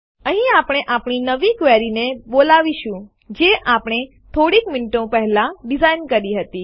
અહીં આપણે આપણી નવી ક્વેરીને બોલાવીશું જે આપણે થોડીક મીનીટો પહેલા ડીઝાઇન કરી હતી